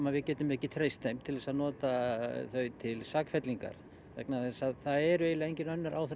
að við getum ekki treyst þeim til að nota þau til sakfellingar vegna þess að það eru eiginlega engin önnur